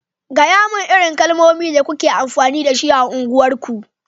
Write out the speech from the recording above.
gayamun irin kalamai da kuke amfani da shi a unguwar ku!